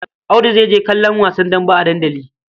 Audu zai je kallon wasa dambe a dandali.